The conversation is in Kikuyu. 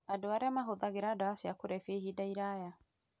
Andũ arĩa mahũthagĩra ndawa cia kũrebia ihinda iraya